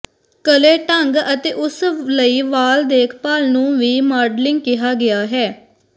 ਕਲੇ ਢੰਗ ਅਤੇ ਉਸ ਲਈ ਵਾਲ ਦੇਖਭਾਲ ਨੂੰ ਵੀ ਮਾਡਲਿੰਗ ਕਿਹਾ ਗਿਆ ਹੈ